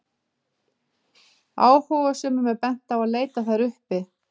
Áhugasömum er bent á að leita þær uppi.